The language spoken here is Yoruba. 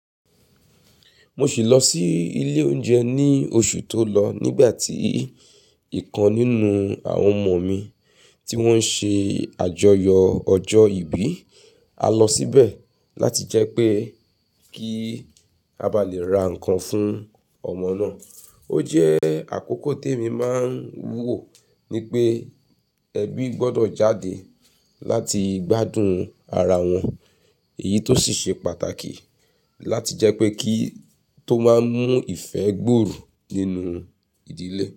Mo sì lọ sí ilé oúnjẹ ní oṣù tó lọ nígbà tí ìkan nínú àwọn ọmọ mi tí wọ́n ṣe àjọyọ̀ ọjọ́ ìbí. A lọ síbẹ̀ láti jẹ́ pé kí a bá lè ra nǹkan fún ọmọ náà. Ó jẹ́ àkókò tó èmi máa ń wúwo ni pé ẹbí gbọ́dọ̀ jáde láti gbádùn ara wọn. Èyí tó sì ṣe pàtàkì láti jẹ́ pé kí tó máa mú ìfẹ́ gbòòrò nínú ìdílé.